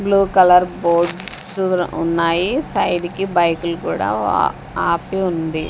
Blue colour boards ఉన్నాయి side కి బైకులు కూడా ఆ ఆపి ఉంది.